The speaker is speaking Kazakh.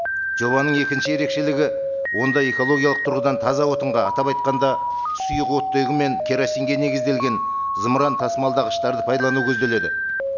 жобаның екінші ерекшелігі онда экологиялық тұрғыдан таза отынға атап атйқанда сұйық оттегі мен керосинге негізделген зымыран тасымалдағыштарды пайдалану көзделеді